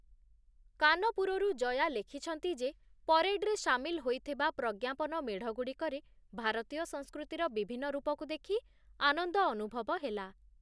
କାନପୁରରୁ ଜୟା ଲେଖିଛନ୍ତି ଯେ, ପରେଡ଼ରେ ସାମିଲ ହୋଇଥିବା ପ୍ରଜ୍ଞାପନ ମେଢ଼ଗୁଡ଼ିକରେ ଭାରତୀୟ ସଂସ୍କୃତିର ବିଭିନ୍ନ ରୂପକୁ ଦେଖି ଆନନ୍ଦ ଅନୁଭବ ହେଲା ।